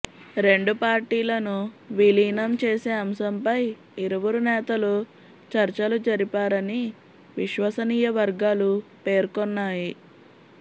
రెండు పార్టీలను విలీనం చేసే అంశంపై ఇరువురు నేతలు చర్చలు జరిపారని విశ్వసనీయ వర్గాలు పేర్కొన్నాయి